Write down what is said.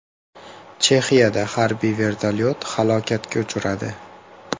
Chexiyada harbiy vertolyot halokatga uchradi.